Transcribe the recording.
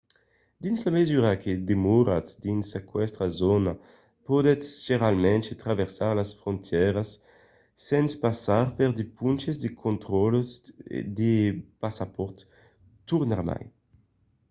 dins la mesura que demoratz dins aquesta zòna podètz generalament traversar las frontièras sens passar per de ponches de contraròtles de passapòrt tornarmai